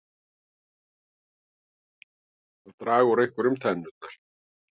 Að draga úr einhverju tennurnar